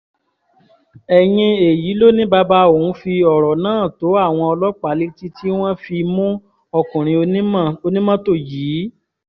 ẹ̀yìn èyí ló ní bàbá òun fi ọ̀rọ̀ náà tó àwọn ọlọ́pàá létí tí wọ́n fi mú ọkùnrin onímọ́tò yìí